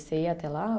Você ia até lá?